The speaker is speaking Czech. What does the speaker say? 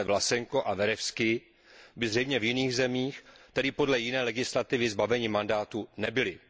Pánové Vlasenko a Verevskij by zřejmě v jiných zemích, tedy podle jiné legislativy, zbaveni mandátu nebyli.